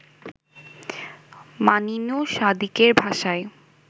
মানিনু সাদিকের ভাষায়